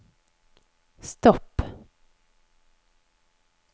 stopp